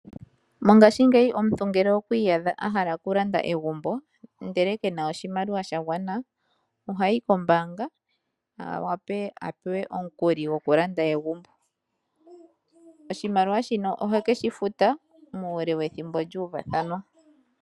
Mongashingeyi omuntu ngele okwiiyadha a hala okulanda egumbo ndele kena oshimaliwa shagwana ohayi kombaanga a wape a pewe omukuli gwokulanda egumbo. Oshimaliwa shino ohekeshi futa muule wethimbo lya uvathanwa.